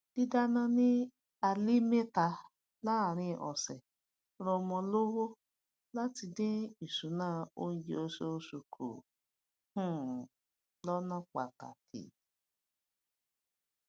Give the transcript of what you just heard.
dídáná ni alé méta láàrin ọsẹ ranmo lówó láti dín ìṣúná oúnjẹ osoòsù ku um lọna pataki